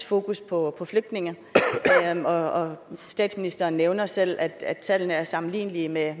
fokus på flygtninge og statsministeren nævner selv at at tallene er sammenlignelige med